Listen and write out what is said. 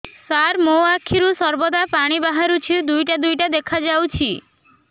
ସାର ମୋ ଆଖିରୁ ସର୍ବଦା ପାଣି ବାହାରୁଛି ଦୁଇଟା ଦୁଇଟା ଦେଖାଯାଉଛି